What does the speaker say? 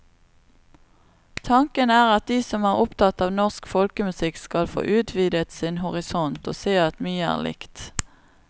Tanken er at de som er opptatt av norsk folkemusikk, skal få utvidet sin horisont og se at mye er likt.